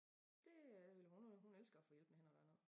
Det øh vil hun hun elsker at få hjælp med et eller andet